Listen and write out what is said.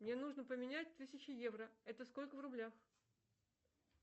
мне нужно поменять тысячу евро это сколько в рублях